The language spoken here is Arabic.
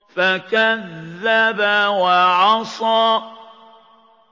فَكَذَّبَ وَعَصَىٰ